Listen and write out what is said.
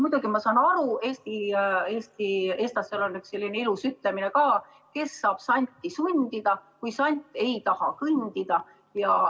Muidugi ma saan aru, eestlastel on selline ilus ütlemine ka, et kes saab santi sundida, kui sant ei taha kõndida.